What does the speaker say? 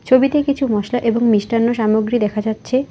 ছবিতে কিছু মশলা এবং মিষ্টান্ন সামগ্রী দেখা যাচ্ছে।